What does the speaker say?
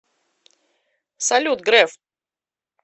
салют греф